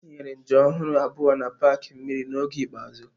Ha tinyere njem ọhụrụ abụọ na paaki mmiri n'oge ikpeazụ.